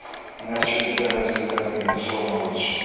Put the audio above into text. Yəni əkirdi, bəhrəsini götürə bilmirdi su olmadığı üçün.